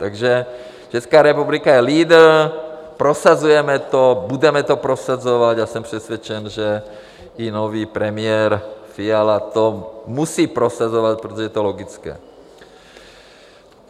Takže Česká republika je lídr, prosazujeme to, budeme to prosazovat a jsem přesvědčen, že i nový premiér Fiala to musí prosazovat, protože je to logické.